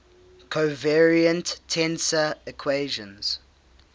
covariant tensor equations